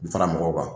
Fara mɔgɔw kan